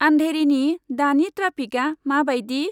आन्धेरिनि दानि ट्राफिका मा बायदि?